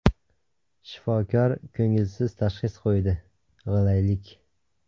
Shifokor ko‘ngilsiz tashxis qo‘ydi –g‘ilaylik.